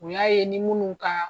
O y'a ye ni minnu ka